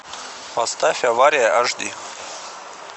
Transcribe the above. поставь авария аш ди